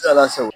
Ala sɔn